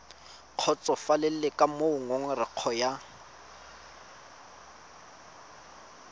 kgotsofalele ka moo ngongorego ya